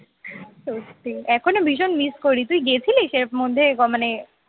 সত্যি এখনো ভীষণ miss করি তুই গেছিলিস এর মধ্যে মানে